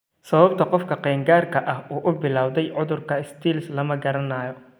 Sababta qofka qaangaarka ah u bilaawday cudurka Stills lama garanayo.